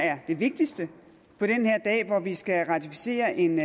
er det vigtigste på den her dag hvor vi skal ratificere en